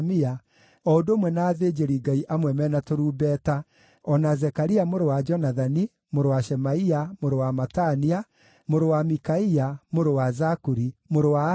o ũndũ ũmwe na athĩnjĩri-Ngai amwe me na tũrumbeta, o na Zekaria mũrũ wa Jonathani, mũrũ wa Shemaia, mũrũ wa Matania, mũrũ wa Mikaia, mũrũ wa Zakuri, mũrũ wa Asafu,